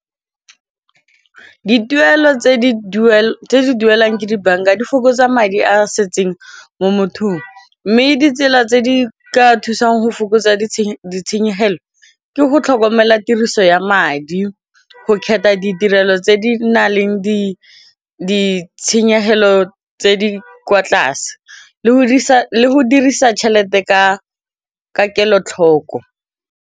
Dituelo tse di duelang ke dibanka di fokotsa madi a setseng mo mothong mme ditsela tse di ka thusang go fokotsa ditshenyegelo ke go tlhokomela di tiriso ya madi go kgetha ditirelo tse di nang le ditshenyegelo tse di kwa tlase le go dirisa tšhelete ka kelotlhoko.